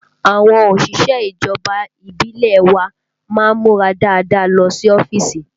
Àwọn òṣìṣẹ́ ìjọba ìbílẹ̀ wa má ń múra dáadáa lọ sí ọ́fíìsì